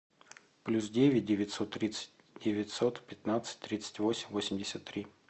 плюс девять девятьсот тридцать девятьсот пятнадцать тридцать восемь восемьдесят три